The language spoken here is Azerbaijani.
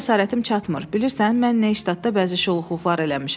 Buna cəsarətim çatmır, bilirsən, mən neyştatda bəzi şuluqluqlar eləmişəm.